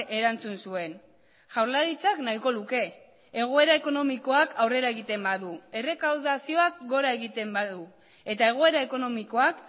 erantzun zuen jaurlaritzak nahiko luke egoera ekonomikoak aurrera egiten badu errekaudazioak gora egiten badu eta egoera ekonomikoak